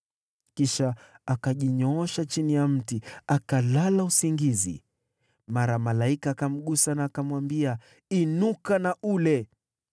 Kisha akajinyoosha chini ya mti, akalala usingizi. Mara malaika akamgusa na akamwambia, “Inuka na ule.”